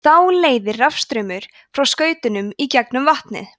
þá leiðir rafstraumur frá skautunum í gegnum vatnið